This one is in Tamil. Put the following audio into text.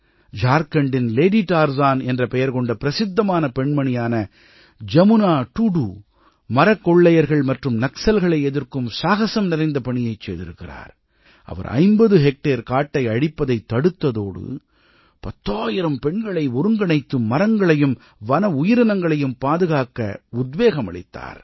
ஜார்க்கண்டின் லேடி டார்சன் என்ற பெயர் கொண்ட பிரசித்தமான பெண்மணியான ஜமுனா டுடூ துடு மரக் கொள்ளையர்கள் மற்றும் நக்சல்களை எதிர்க்கும் சாகசம் நிறைந்த பணியைச் செய்திருக்கிறார் அவர் 50 ஹெக்டேர் காட்டை அழிப்பதைத் தடுத்ததோடு பத்தாயிரம் பெண்களை ஒருங்கிணைத்து மரங்களையும் வன உயிரினங்களையும் பாதுகாக்க உத்வேகம் அளித்தார்